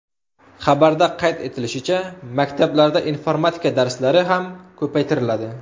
Xabarda qayd etilishicha, maktablarda informatika darslari ham ko‘paytiriladi.